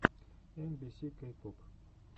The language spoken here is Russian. эм би си кей поп